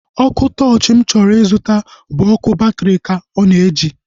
Ọkụ tọọchi mụ chọrọ ịzụta bụ ọkụ batri ka ọ na-eji